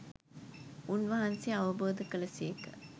උන්වහන්සේ අවබෝධ කළ සේක.